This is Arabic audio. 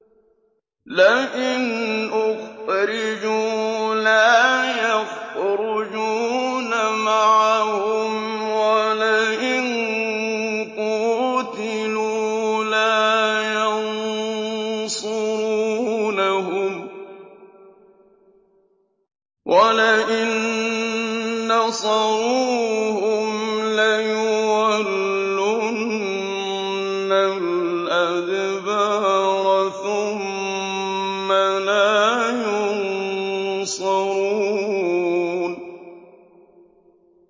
لَئِنْ أُخْرِجُوا لَا يَخْرُجُونَ مَعَهُمْ وَلَئِن قُوتِلُوا لَا يَنصُرُونَهُمْ وَلَئِن نَّصَرُوهُمْ لَيُوَلُّنَّ الْأَدْبَارَ ثُمَّ لَا يُنصَرُونَ